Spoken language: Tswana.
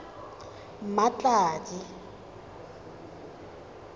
mmatladi